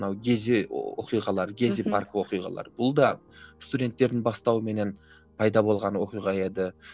мынау гези оқиғалары гези парк оқиғалары бұл да студенттердің бастауыменен пайда болған оқиға еді